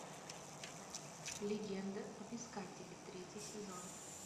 легенда об искателе третий сезон